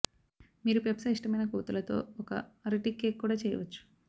మీరు పెప్పా ఇష్టమైన కొవ్వొత్తులతో ఒక అరటి కేక్ కూడా చేయవచ్చు